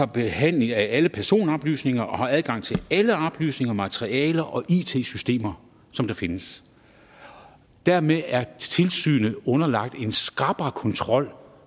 behandling af alle personoplysninger og har adgang til alle oplysninger materialer og it systemer som der findes dermed er tilsynet underlagt en skrappere kontrol